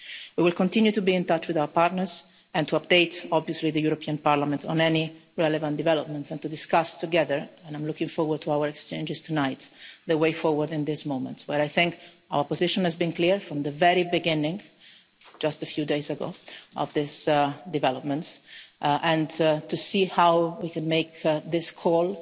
We will also continue to be in touch with our partners, and to update obviously the European Parliament on any relevant developments and to discuss together and I am looking forward to our exchanges tonight the way forward in this moment. I think our position has been clear from the very beginning just a few days ago of these developments and we must see how we can make this call